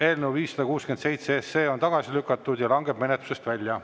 Eelnõu 567 on tagasi lükatud ja langeb menetlusest välja.